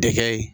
Dekɛ ye